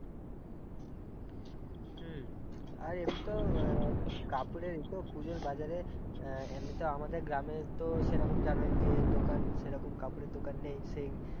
হম আর এমনিতে-অ তো কাপড়ের এই তো পুজোর বাজারে এমনিতে আমাদের গ্রামে তো সেইরকম জানই যে দোকান সেইরকম কাপড়ের দোকান নেই সেই-